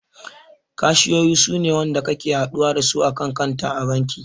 Kashiyoyi suna wanda kake haɗuwa dasu a kan kanta a banki